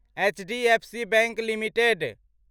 HDFC bank limited